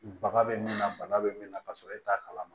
Baga be min na bana be min na ka sɔrɔ e t'a kalama